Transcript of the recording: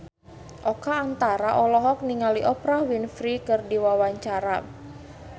Oka Antara olohok ningali Oprah Winfrey keur diwawancara